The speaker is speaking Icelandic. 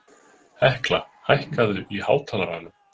Hekla, hækkaðu í hátalaranum.